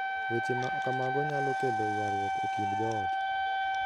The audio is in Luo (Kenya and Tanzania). Weche ma kamago nyalo kelo ywaruok e kind joot".